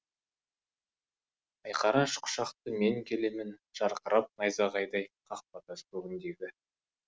айқара аш құшақты мен келемін жарқырап найзағайдай қақпатас көгіндегі